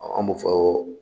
Ɔ an b'o fɔ